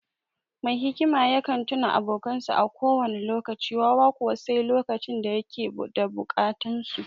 Mai hikima yakan tuna abokansa a kowane lokaci; wawa kuwa, sai lokacin da ya yake da bukata su.